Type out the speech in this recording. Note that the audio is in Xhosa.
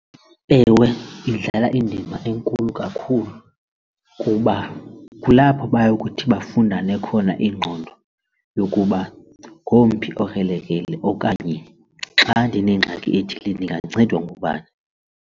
Ewe, idlala indima enkulu kakhulu kuba kulapho bayokuthi bafundane khona iingqondo yokuba ngomphi okrelekrele okanye xa ndinengxaki ethile ndingancedwa ngubani.